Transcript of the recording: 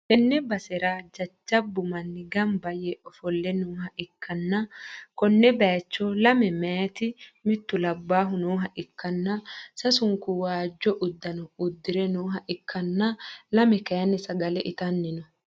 tenne basera jajjabbu manni gamba yee ofolle nooha ikkanna, konne bayicho lame meyaati mittu labbahu nooha ikkanna, sasunku waajjo uddano uddi're nooha ikkanna, lame kayiinni sagale itanni no.